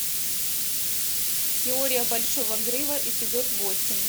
теория большого взрыва эпизод восемь